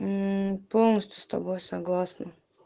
полностью с тобой согласна